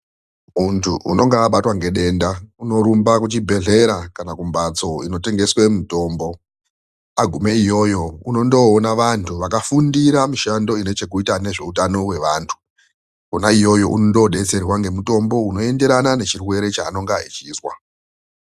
Muntu unenge abatwa nedenda unorumbe kuzvibhedhlera kana kumhatso inotengeswe mitombo. Agume iyoyo unondoona vantu vakafundira mishando inezvekuita nehutano yevantu. Kona iyoyo unondobetserwa ngemitombo unoenderana nechirwere chaanenge achizwa.